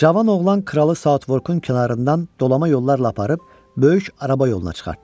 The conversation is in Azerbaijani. Cavan oğlan kralı Saatvorkun kənarından dolama yollarla aparıb böyük araba yoluna çıxartdı.